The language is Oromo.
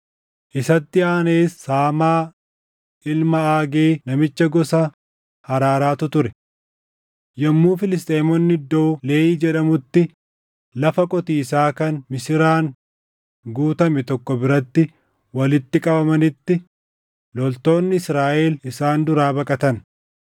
Isatti aanees Saamaa ilma Aagee namicha gosa Haraaraatu ture. Yommuu Filisxeemonni iddoo Leehi jedhamutti lafa qotiisaa kan misiraan guutame tokko biratti walitti qabamanitti loltoonni Israaʼel isaan duraa baqatan.